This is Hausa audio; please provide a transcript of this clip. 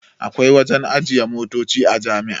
Akwai wajen ajiye motoci a jami'a